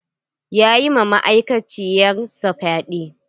Ya yi ma ma'aikaciyar sa fyaɗe.